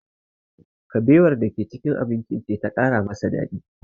Kabewar da ke cikin abincin ce ta ƙara masa daɗi